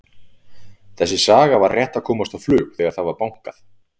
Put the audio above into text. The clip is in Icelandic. Þessi saga var rétt að komast á flug þegar það var bankað.